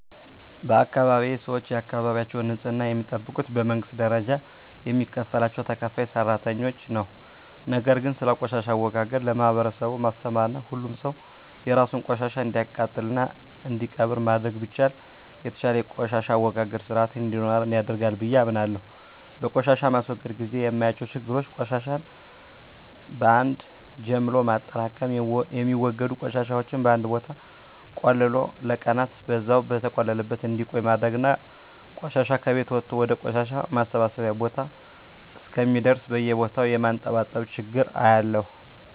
በአካባቢየ ሰወች የአካባቢያቸውን ንጽህና የሚጠብቁት በመንግስት ደረጃ የሚከፈላቸው ተከፋይ ሰራተኞች ነው። ነገር ግን ስለቆሻሻ አወጋገድ ለማህበረሰቡ ማስተማርና ሁሉም ሰው የራሱን ቆሻሻ እንዲያቃጥልና እንዲቀብር ማድረግ ቢቻል የተሻለ የቆሻሻ አወጋገድ ስርአት እንዲኖረን ያደርጋል ብየ አምናለሁ። በቆሻሻ ማስወገድ ግዜ የማያቸው ችግሮች ቆሻሻን በአን ጀምሎ ማጠራቅም፣ የሚወገዱ ቆሻሻወችን በአንድ ቦታ ቆልሎ ለቀናን በዛው በተቆለለበት እንዲቆይ ማድረግና ቆሻሻ ከቤት ወጦ ወደ ቆሻሻ ማሰባሰቢያ ቦታ እስከሚደርስ በየቦታው የማንጠባጠብ ችግር አያለሁ።